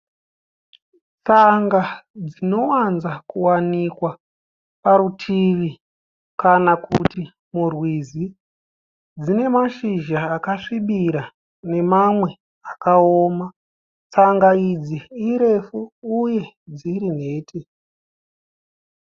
Tsanga dzinowanza kuwanikwa parutivi kana kuti murwizi. Dzine mashizha akasvibira nemamwe akaoma . Tsanga idzi irefu uye dziri nhete.